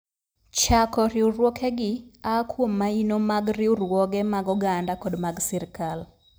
Chako riwruogegi aa kuom maino mag riwruoge mag oganda kod mag sirkal.